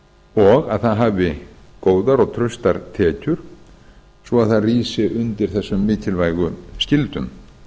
og það hafi góðar og traustar tekjur svo það rísi undir þessum mikilvægu skyldum